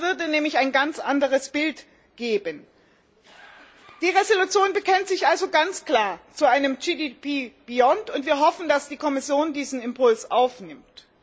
Das würde nämlich ein ganz anderes Bild geben. Die Entschließung bekennt sich also ganz klar zu einem GDP Beyond und wir hoffen, dass die Kommission diesen Impuls aufnimmt.